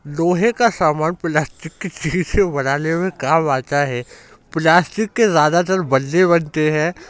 लोहा का सामान प्लास्टिक के शीशे बनाने में काम आता है। प्लास्टिक के ज्यादातर बल्ले बनते हैं।